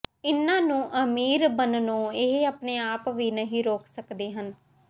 ਇਨ੍ਹਾਂ ਨੂੰ ਅਮੀਰ ਬਣਨੋਂ ਇਹ ਆਪਣੇ ਆਪ ਵੀ ਨਹੀਂ ਰੋਕ ਸੱਕਦੇ ਹਨ